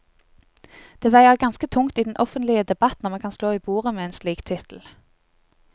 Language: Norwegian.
Det veier ganske tungt i den offentlige debatt når man kan slå i bordet med en slik tittel.